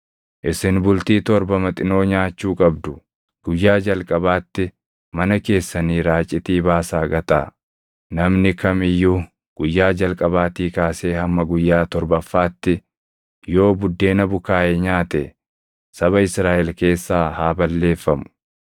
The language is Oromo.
Isin bultii torba maxinoo nyaachuu qabdu; guyyaa jalqabaatti mana keessanii raacitii baasaa gataa; namni kam iyyuu guyyaa jalqabaatii kaasee hamma guyyaa torbaffaatti yoo buddeena bukaaʼe nyaate saba Israaʼel keessaa haa balleeffamu.